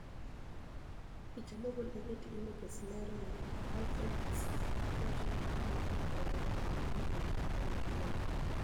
Picha mogol e Getty Images lero nii, Alfred Kisaawe wacho nii Babu noketo dwaro mare owuoni e wi chike mag Amerka.